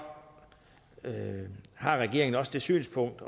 har regeringen også det synspunkt